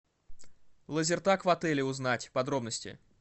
лазертаг в отеле узнать подробности